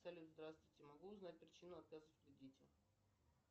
салют здравствуйте могу узнать причину отказа в кредите